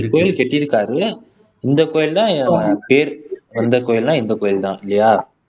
கோயில் கட்டியிருக்காரு இந்த கோயில் தான் பேர் இந்த கோயில்னா இந்த கோயில் தான் இல்லையா